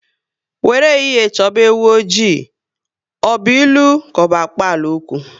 "Were ehihie choba ewu oji, ọ bụ ilu ka ọ bụ akpalaokwu?